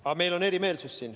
Aga meil on siin erimeelsused.